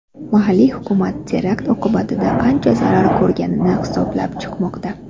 Mahalliy hukumat terakt oqibatida qancha zarar ko‘rilganini hisoblab chiqmoqda.